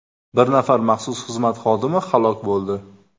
Bir nafar maxsus xizmat xodimi halok bo‘ldi.